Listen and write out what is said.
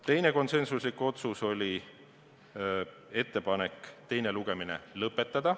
Teine konsensuslik otsus oli ettepanek teine lugemine lõpetada.